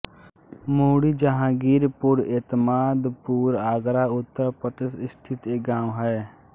मुंडी जहांगीरपुर एतमादपुर आगरा उत्तर प्रदेश स्थित एक गाँव है